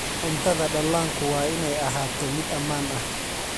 Cuntada dhallaanku waa inay ahaato mid ammaan ah.